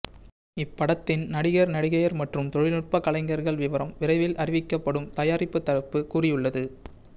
இப்படத்தின் நடிகர் நடிகையர் மற்றும் தொழில்நுட்ப கலைஞர்கள் விவரம் விரைவில் அறிவிக்கப்படும் தயாரிப்பு தரப்பு கூறியுள்ளது